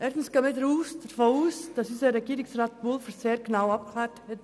Erstens gehen wir davon aus, dass unser Regierungsrat Pulver sehr genaue Abklärungen vorgenommen hat.